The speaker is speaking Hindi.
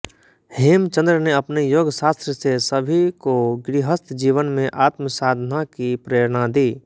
हेमचंद्र ने अपने योगशास्त्र से सभी को गृहस्थ जीवन में आत्मसाधना की प्रेरणा दी